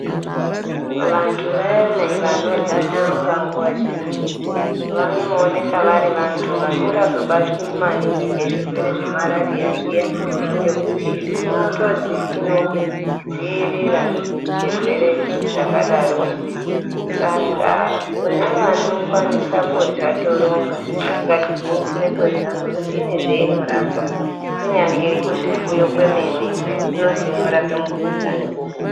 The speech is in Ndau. Vantu vayana vanorya toronga nguwa zhinji vanooneka vari vanhu vasingazobatwi maningi ngezvirwere zvemarariya zviya ngekuti inotozwi inodzirira zvirwere zvakadaro saka kune vanokwanise kurye toronga ngatigwinyisire kurya ngekuti inezvainorapa kunyangwe kuzvifuyo kwemene inozi inorape mukhuhlani muhuku.